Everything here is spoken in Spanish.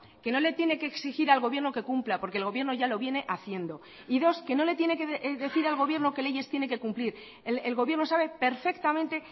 que no le tiene que exigir al gobierno que cumpla porque el gobierno ya lo viene haciendo y dos que no le tiene que decir al gobierno qué leyes tiene que cumplir el gobierno sabe perfectamente